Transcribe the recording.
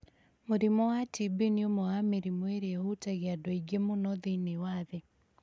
Mũrimũ wa TB nĩ ũmwe wa mĩrimũ ĩrĩa ĩhutagia andũ aingĩ mũno thĩinĩ wa thĩ,